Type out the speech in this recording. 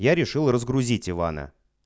я решил разгрузить ивана